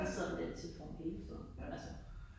Jeg sidder med den telefon hele tiden altså